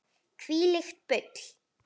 Þvílíkt bull.